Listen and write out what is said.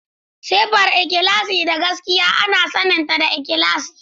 Siffar ikhlasi da gaskiya ana saninta da ikhlasi.